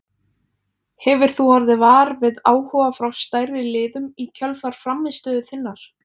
Hefur þú orðið var við áhuga frá stærri liðum í kjölfar frammistöðu þinnar?